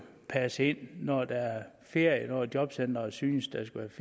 passet ind når der er ferie når jobcenteret synes der skal